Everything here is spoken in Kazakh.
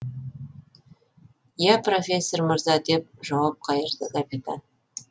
я профессор мырза деп жауап қайырды капитан